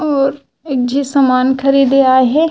और एक झी सामान खरीदे आये हे।